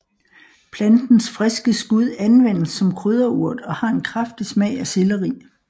Plantens friske skud anvendes som krydderurt og har en kraftig smag af selleri